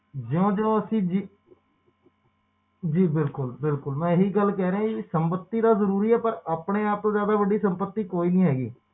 ਜਿਓ ਜਿਓ ਅਸੀਂ ਜੀ ਬਿਲਕੁਲ ਬਿਲਕੁਲ ਮੈਂ ਇਹੀ ਗੱਲ ਕਹਿ ਰਿਹਾ ਕਿ ਸੰਪਤੀ ਤਾ ਜ਼ਰੂਰੀ ਆ ਪਰ ਆਪਣੇ ਆਪ ਤੋਂ ਵੱਡੀ ਸੰਪਤੀ ਤਾ ਕੋਈ ਨੀ ਹੇਗੀ